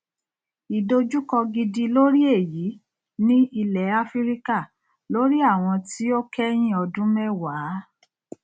idojukọ gidi lórí èyí ní ilẹ afíríkà lórí àwọn tí ó kẹhìn ọdún mẹwàá